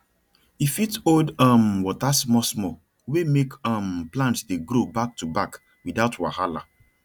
e fit hold um water smallsmall wey make um plants dey grow backtoback without wahala